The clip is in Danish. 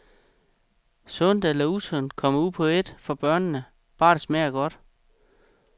Sundt eller usundt kommer ud på ét for børnene, bare det smager godt.